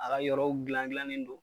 A ka yɔrɔw dilan dilannen don